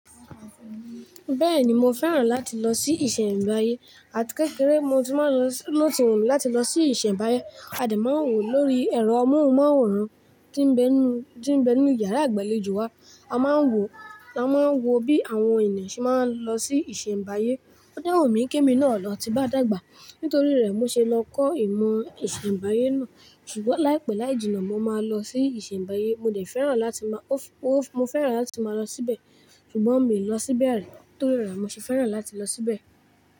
Bẹ́ẹ̀ni mo fẹ́ràn láti lọ sí ìṣẹ̀mbàyé àti kékeré mo ti n máa lọ, lo ti wù mí láti lọ sí ìṣẹ̀mbáyé. A de má n wò lórí ẹ̀rọ amóhùnmáwòrán tí ń bẹ nu, tí ń bẹ nínu yàrá ìgbàlejò wá. A máa ń wò, a máa ń wo bí àwọn ènìyàn ṣe máa ń lọ sí ìṣẹ̀mbáyé. Ó de wù mí kí emi na lọ ti n bá dàgbà nítorí rẹ̀ mo ṣe lọ kọ́ ìmọ̀ ìṣẹ̀mbáyé náà ṣùgbọ́n láìpẹ́ láì jìnnà mo máa lọ sí ìṣẹ̀mbáyé. Mo dẹ̀ fẹ́ràn láti máa, mo fẹ́ràn láti máa lọ síbẹ̀ ṣùgbọ́n mi ò lọ síbẹ̀ rí torí rẹ̀ mo ṣe fẹ́ràn láti lọ síbẹ̀.